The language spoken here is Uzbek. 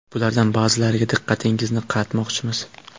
Bulardan ba’zilariga diqqatingizni qaratmoqchimiz.